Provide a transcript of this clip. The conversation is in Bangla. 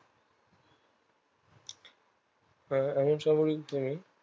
এ এমন